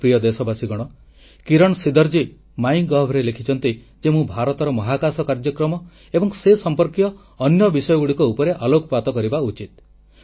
ମୋର ପ୍ରିୟ ଦେଶବାସୀଗଣ କିରଣ ସିଦରଜୀ ମାଇ ଗୋଭ୍ ରେ ଲେଖିଛନ୍ତି ଯେ ମୁଁ ଭାରତର ମହାକାଶ କାର୍ଯ୍ୟକ୍ରମ ଏବଂ ସେ ସଂପର୍କୀୟ ଅନ୍ୟ ବିଷୟଗୁଡ଼ିକ ଉପରେ ଆଲୋକପାତ କରିବା ଉଚିତ